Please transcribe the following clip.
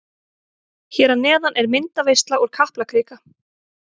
Hér að neðan er myndaveisla úr Kaplakrika.